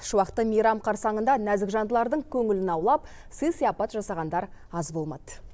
шуақты мейрам қарсаңында нәзік жандылардың көңілін аулап сый сыяпат жасағандар аз болмады